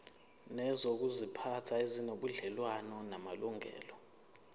nezokuziphatha ezinobudlelwano namalungelo